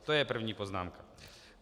To je první poznámka.